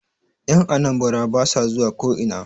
Yan Anambara ba sa zuwa ko'ina